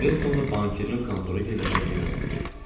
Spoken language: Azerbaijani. Kresionu bankirin kontoru yerləşən evə sürdük.